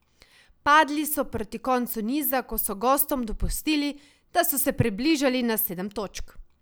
Padli so proti koncu niza, ko so gostom dopustili, da so se približali na sedem točk.